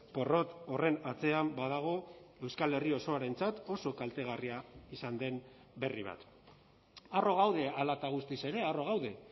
porrot horren atzean badago euskal herri osoarentzat oso kaltegarria izan den berri bat harro gaude hala eta guztiz ere harro gaude